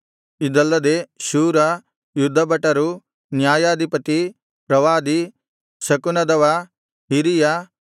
ಇದಲ್ಲದೆ ಶೂರ ಯುದ್ಧಭಟರು ನ್ಯಾಯಾಧಿಪತಿ ಪ್ರವಾದಿ ಶಕುನದವ ಹಿರಿಯ